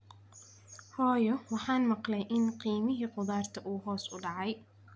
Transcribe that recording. Hooyo, waxaan maqlay in qiimihii khudaarta uu hoos u dhacay